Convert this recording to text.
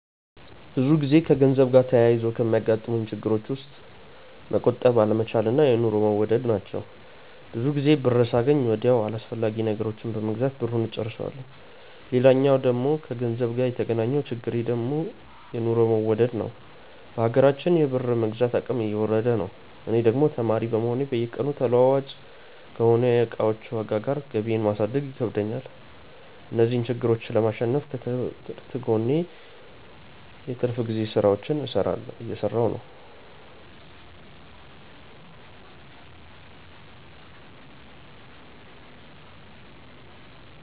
ብዙ ጊዜ ከገንዘብ ጋር ተያይዞ ከሚያጋጥሙኝ ችግሮች ውስጥ መቆጠብ አለመቻል እና የኑሮ መወደድ ናቸው። ብዙ ጊዜ ብር ሳገኝ ወዲያው አላስፈላጊ ነገሮችን በመግዛት ብሩን እጨርሰዋለሁ። ሌላኛው ከገንዘብ ጋር የተገናኘው ችግሬ ደግሞ የኑሮ መወደድ ነዉ። በሀገራችን የብር የመግዛት አቅም እየወረደ ነው። እኔ ደግሞ ተማሪ እንደመሆኔ በየቀኑ ተለዋዋጭ ከሆነው የእቃዎች ዋጋ ጋር ገቢየን ማሳደግ ይከብደኛል። እነዚህን ችግሮች ለማሸነፍ ከትምህርቴ ጎን ለጎን የትርፍ ጊዜ ስራዎችን እየሰራሁ ነው።